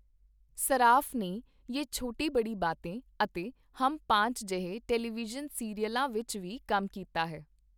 ਸਰਾਫ਼ ਨੇ 'ਯੇ ਛੋਟੀ ਬਡ਼ੀ ਬਾਤੇਂ' ਅਤੇ 'ਹਮ ਪਾਂਚ' ਜਿਹੇ ਟੈਲੀਵਿਜ਼ਨ ਸੀਰੀਅਲਾਂ ਵਿੱਚ ਵੀ ਕੰਮ ਕੀਤਾ ਹੈ।